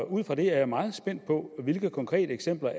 ud fra det er jeg meget spændt på hvilke konkrete eksempler